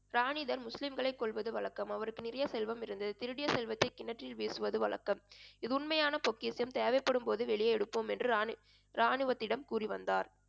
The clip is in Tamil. ராணி தர் முஸ்லிம்களை கொல்வது வழக்கம் அவருக்கு நிறைய செல்வம் இருந்தது திருடிய செல்வத்தை கிணற்றில் வீசுவது வழக்கம் இது உண்மையான பொக்கிஷம் தேவைப்படும்போது வெளியே எடுப்போம் என்று ராணி~ ராணுவத்திடம் கூறிவந்தார்